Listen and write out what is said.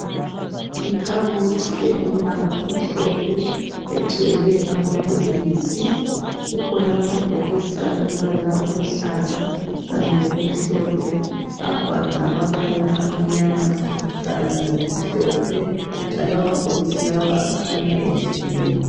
Ikhabothi elombala omhlophe egcwele amabhokisi kukhona amabhokisi alombala oluhlaza kanye lokumhlophe abhalwa ngamabala amnyama kanye lamhlophe njalo amabhokisi lawa akhanya ehlukene